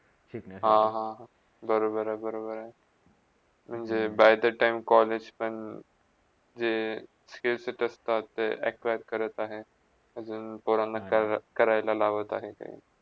हा - हा, बरोबर - बरोबर! म्हणजे by the time college पण जे status असत्तात ते acquire करत आहेत अजून पोरांना पोरांना करायला लावत आहेत ते.